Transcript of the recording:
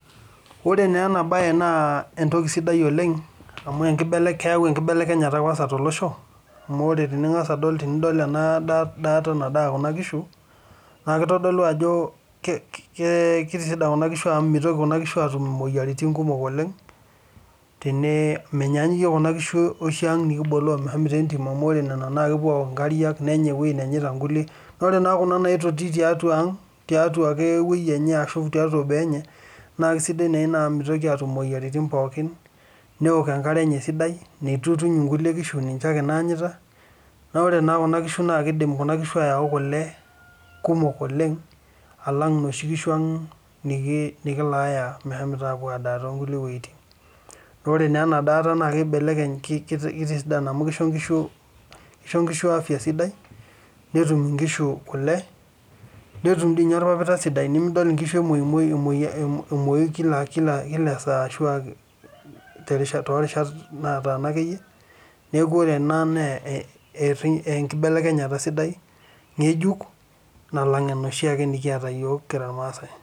Ore naa ena bae naa entoki sidai oleng' amu keyau enkibelekenyata kwansa tolosho amu ore tening'as adol endaata naadaa kuna kishu naa kitodolu ajo mitoki kuna kishu atum imoyiaritin oshi nikiboloo meshomito entim amu ore nena naa kepuo aok nkariak nepuo anya nkujit nanyaita nkulie, naa ore naa kuna natoni tiang' ashu naitoti tiatu boo enye naa kisidai naa ina amu mitoki atum imoyiaritin pookin neok enkare esidai naa ore naa kuna kishu naa kidim ayau kule kumok oleng' alang' inoshi kishu ang nikilayaa meshomoita apuo adaa kulie wuetin. Naa ore naa ena daata naa kitisidan, kisho nkishu afya sidai netum inkishu kule, netum diii ninye orpapita sidai nemidol inkishu emuoyumuoyu , emuoyu kila esaa ashuaa torishat nataana akeyie. Niaku ore ena naa enkibelekenyata sidai ng'ejuk nalang' enoshi ake nikiata yiok kira irmaasae.